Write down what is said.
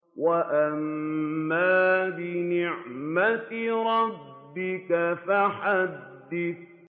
وَأَمَّا بِنِعْمَةِ رَبِّكَ فَحَدِّثْ